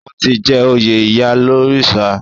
Wọ́n ti jẹ oyè ìyálórìṣà.